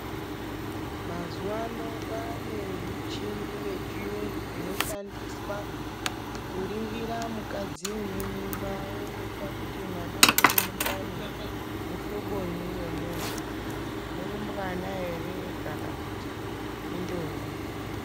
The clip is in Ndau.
Mazuva ano kwane michini ye chiyungu ino shandiswa ku ningira mukadzi une mimba oonekqa kuti mwana uri mundani mu hlobonyi we muntu murumbwana ere kana kuti i ndombi.